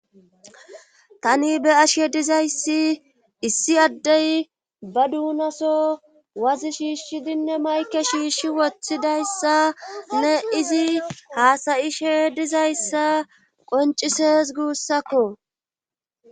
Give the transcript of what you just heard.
tani be7ashe dizayssi issi addey ba duunaso wazi shiishshidinne mayke shiishshi woththidayssa ne izi haasayishe dizayssa qoncises guussakko